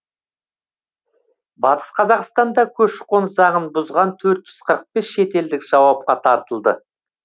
батыс қазақстанда көші қон заңын бұзған төрт жүз қырық бес шетелдік жауапқа тартылды